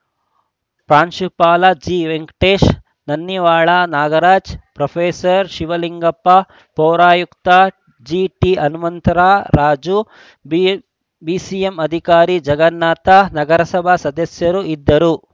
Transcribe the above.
ಪ್ರಾಂಶುಪಾಲ ಜಿವೆಂಕಟೇಶ್‌ ನನ್ನಿವಾಳ ನಾಗರಾಜು ಪ್ರೊಫೆಸರ್ ಶಿವಲಿಂಗಪ್ಪ ಪೌರಾಯುಕ್ತ ಜೆಟಿಹನುಮಂತರಾಜು ಬಿಸಿಎಂ ಅಧಿಕಾರಿ ಜಗನ್ನಾಥ ನಗರಸಭಾ ಸದಸ್ಯರು ಇದ್ದರು